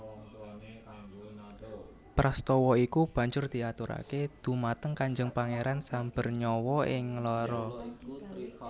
Prastowo iku banjur diaturake dumateng Kanjeng Pangeran Sambernyawa ing Nglaroh